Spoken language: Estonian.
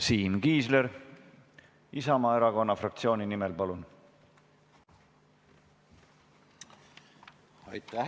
Siim Kiisler Isamaa fraktsiooni nimel, palun!